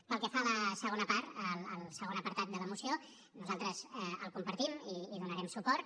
pel que fa a la segona part al segon apartat de la moció nosaltres el compartim i hi donarem suport